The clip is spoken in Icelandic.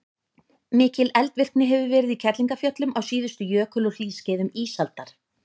mikil eldvirkni hefur verið í kerlingarfjöllum á síðustu jökul og hlýskeiðum ísaldar